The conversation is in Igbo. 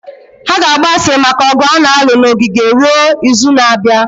Ha ga-agba asịrị maka ọgụ a na-alụ na ogige ruo izu na-abịa